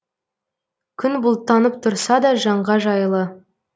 күн бұлттанып тұрса да жанға жайлы